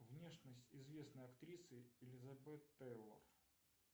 внешность известной актрисы элизабет тейлор